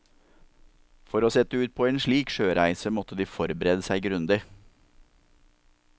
For å sette ut på en slik sjøreise, måtte de forberede seg grundig.